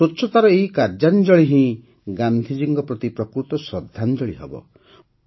ସ୍ୱଚ୍ଛତାର ଏହି କାର୍ଯ୍ୟାଞ୍ଜଳି ହିଁ ଗାନ୍ଧିଜୀଙ୍କ ପ୍ରତି ପ୍ରକୃତ ଶ୍ରଦ୍ଧାଞ୍ଜଳି ହେବ